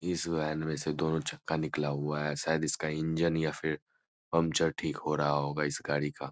इस वेन मे से दोनों चक्का निकला हुआ है शायद । इसका इंजन या फिर पंचर ठीक हो रहा होगा इस गाड़ी का।